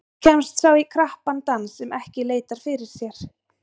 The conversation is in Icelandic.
Oft kemst sá í krappan dans sem ekki leitar fyrir sér.